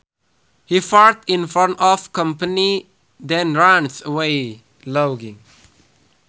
He farts in front of company then runs away laughing